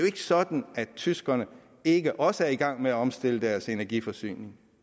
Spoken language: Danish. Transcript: ikke sådan at tyskerne ikke også er i gang med at omstille deres energiforsyning